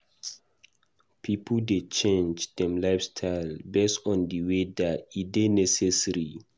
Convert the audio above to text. Pipo dey change dem lifestyle based on di weather; e dey necessary.